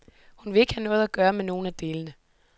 Hun vil ikke have noget at gøre med nogen af delene.